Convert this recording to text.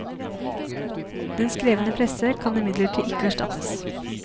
Den skrevne presse kan imidlertid ikke erstattes.